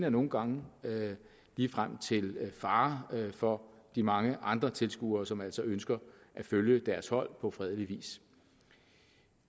og nogle gange ligefrem til fare for de mange andre tilskuere som altså ønsker at følge deres hold på fredelig vis